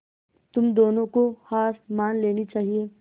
तुम दोनों को हार मान लेनी चाहियें